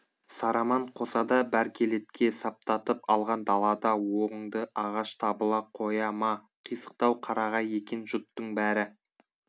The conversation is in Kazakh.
сараман қосада бәркелетке саптатып алған далада оңды ағаш табыла қоя ма қисықтау қарағай екен жұттың бәрі